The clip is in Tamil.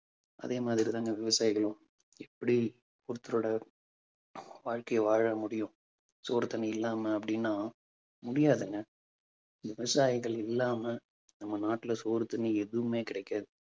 அதே மாதிரிதாங்க விவசாயிகளும். இப்படி ஒருத்தரோட வாழ்க்கைய வாழ முடியும். சோறு, தண்ணி இல்லாம அப்பிடின்னா முடியாதுங்க. விவசாயிகள் இல்லாம நம்ம நாட்டுல சோறு, தண்ணி எதுவுமே கிடைக்காது